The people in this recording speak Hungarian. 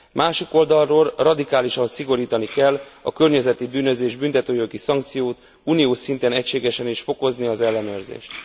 Másik oldalról radikálisan szigorítani kell a környezeti bűnözés büntetőjogi szankciót, uniós szinten egységesen is fokozni az ellenőrzést.